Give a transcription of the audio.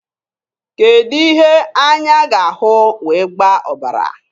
Kedụ ihe anya ga-ahụ wee gbaa ọbara?